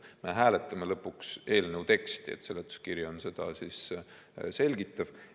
Me hääletame lõpuks eelnõu teksti, seletuskiri on seda selgitav.